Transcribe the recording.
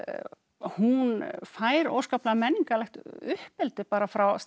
hún fær óskaplega menningarlegt uppeldi bara frá